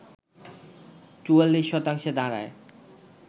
৪৪ শতাংশে দাঁড়ায়